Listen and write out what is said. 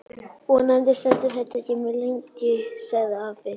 Vonandi stendur þetta ekki mjög lengi sagði afi.